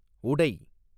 உடை